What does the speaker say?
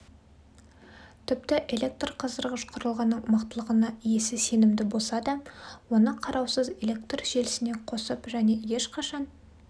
тіпті электрқыздырғыш құрылғының мықтылығына иесі сенімді болса да оны қараусыз электр желісіне қосып және ешқашан